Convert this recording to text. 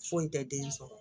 Foyi tɛ den sɔrɔ